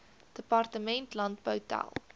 departement landbou tel